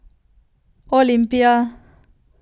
Olimpija!